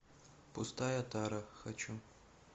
пустая тара хочу